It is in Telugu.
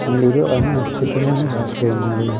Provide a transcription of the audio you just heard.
న్యూరో అనే ఆస్పిటల్ అని రాసి ఉన్నది.